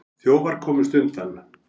Þjófar komust undan.